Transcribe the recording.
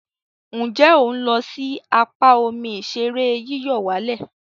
Nje o n lo si apa omi ìṣeré yíyọ̀wálẹ̀?